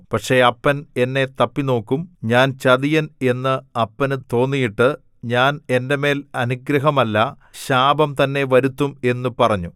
പക്ഷേ അപ്പൻ എന്നെ തപ്പിനോക്കും ഞാൻ ചതിയൻ എന്ന് അപ്പന് തോന്നിയിട്ട് ഞാൻ എന്റെ മേൽ അനുഗ്രഹമല്ല ശാപം തന്നെ വരുത്തും എന്നു പറഞ്ഞു